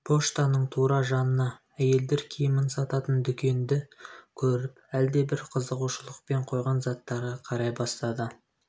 поштаның тура жанына әйелдер киімін сататын дүкенді көріп әлдебір қызығушылықпен қойған заттарға қарай бастады